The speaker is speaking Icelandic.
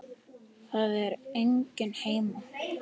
Það er enginn heima.